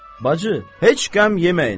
Bacı, heç qəm yeməyin.